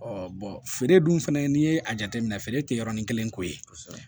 feere dun fɛnɛ n'i ye a jateminɛ feere tɛ yɔrɔnin kelen ko ye